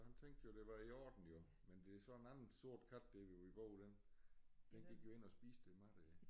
Han tænkte jo det var i orden jo men det så en anden sort kat der hvor vi bor den den gik jo ind og spiste det mad der